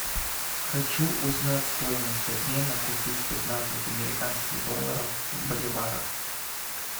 хочу узнать стоимость обмена купив пятнадцать американских долларов в боливарах